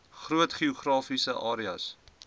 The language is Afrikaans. groot geografiese areas